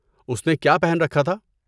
اس نے کیا پہن رکھا تھا؟